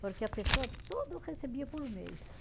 Porque a pessoa, tudo recebia por mês.